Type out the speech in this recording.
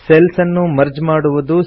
cells ಅನ್ನು merge ಮಾಡುವುದು